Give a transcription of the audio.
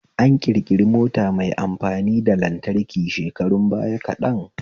An ƙirƙiri mota mai amfani da lantraki shekarun bayan kaɗan